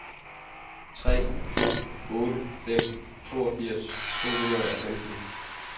tre to otte fem toogfirs to hundrede og femten